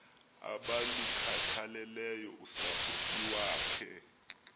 abalukhathaleleyo usapho iwakhe